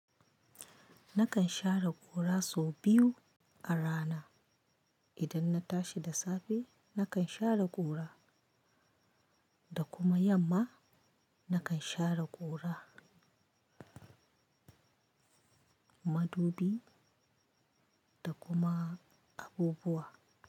Nakan share gora sau biyu a rana. Idan na tashi da safe nakan share ƙura da kuma yamma nakan share ƙura, madubi da kuma abubuwa.